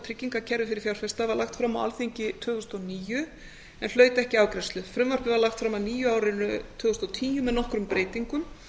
tryggingakerfi fyrir fjárfesta var lagt fram á alþingi tvö þúsund og níu en hlaut ekki afgreiðslu frumvarpið var lagt fram að nýju á árinu tvö þúsund og tíu með nokkrum breytingum